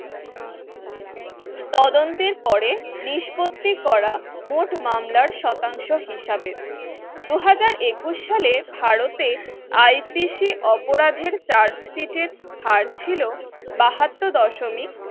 তদন্তের পরে নিষ্পত্তি করা মোট মামলা শতাংশ হিসাবে দুহাজার একুশ সালে ভারতে IPC অপরাধের chart sheet হারছিল বাহাত্তর দশমিক